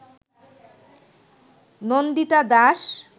Nandita Das